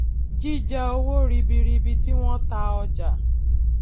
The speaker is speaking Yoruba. jíjẹ owó ribiribi tí wón ta ọjà